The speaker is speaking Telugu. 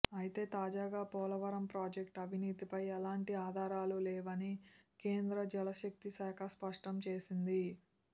అయితే తాజాగా పోలవరం ప్రాజెక్టు అవినీతిపై ఎలాంటి ఆధారాలు లేవని కేంద్ర జలశక్తి శాఖ స్పష్టం చేసింది